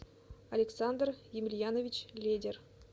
александр емельянович ледер